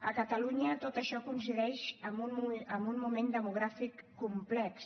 a catalunya tot això coincideix en un moment demogràfic complex